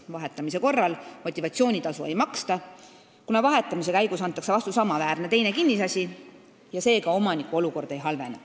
Vahetamise korral motivatsioonitasu ei maksta, kuna vahetamise käigus antakse vastu samaväärne kinnisasi ja seega omaniku olukord ei halvene.